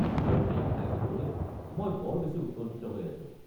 আৰু সেইয়া খাই চাবলৈ মই বৰ বেছি উৎকণ্ঠিত হৈ আছো।